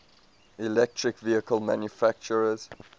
electric vehicle manufacturers